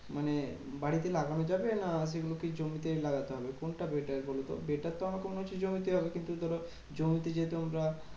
মানে বাড়িতে লাগানো যাবে? না সেগুলোকে জমিতেই লাগাতে হবে কোনটা better বলতো? better তো আমাকে মনে হচ্ছে জমিতেই হবে। কিন্তু ধরো জমিতে যেহেতু আমরা